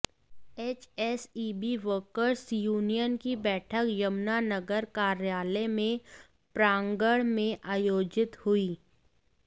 HSEB workers union की बैठक यमुनानगर कार्यालय के प्रांगण में आयोजित हुई